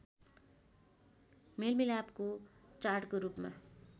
मेलमिलापको चाडको रूपमा